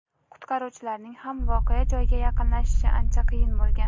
qutqaruvchilarning ham voqea joyiga yaqinlashishi ancha qiyin bo‘lgan.